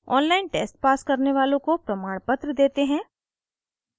online test pass करने वालों को प्रमाणपत्र देते हैं